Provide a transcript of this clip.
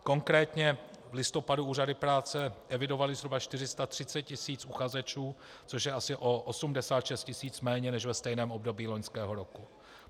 Konkrétně v listopadu úřady práce evidovaly zhruba 430 tisíc uchazečů, což je asi o 86 tisíc méně než ve stejném období loňského roku.